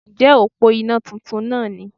Ǹjẹ́ òpó iná titun náà ni